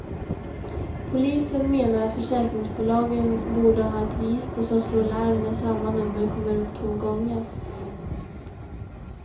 Polisen menar att försäkringsbolagen borde ha ett register som slår larm när samma nummer kommer upp två gånger.